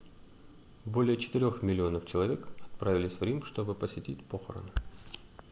более четырёх миллионов человек отправились в рим чтобы посетить похороны